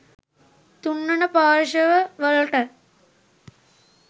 තුන්වන පාර්ශ්ව වලට